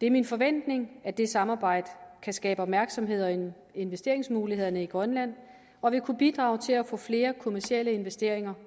det er min forventning at det samarbejde kan skabe opmærksomhed investeringsmulighederne i grønland og vil kunne bidrage til at få flere kommercielle investeringer